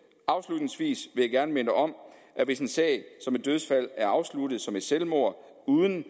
afslutningsvis vil jeg gerne minde om at hvis en sag om et dødsfald er afsluttet som et selvmord uden